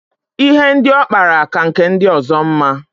Ihe ndị ọ kpara ka nke ndi ọzọ mma.